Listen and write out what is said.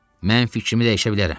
Mən fikrimi dəyişə bilərəm.